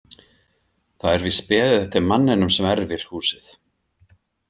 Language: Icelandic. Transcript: Það er víst beðið eftir manninum sem erfir húsið.